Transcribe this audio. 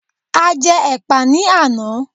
A jẹ́ ẹ̀pà ní àná